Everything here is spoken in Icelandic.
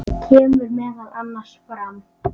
kemur meðal annars fram